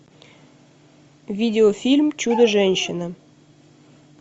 видеофильм чудо женщина